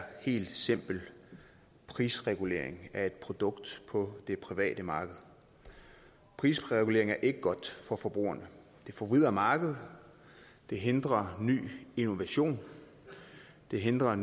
helt simpel prisregulering af et produkt på det private marked prisregulering er ikke godt for forbrugerne det forvrider markedet det hindrer innovation det hindrer